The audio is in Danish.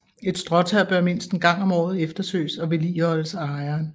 Et stråtag bør mindst en gang om året efterses og vedligeholdes af ejeren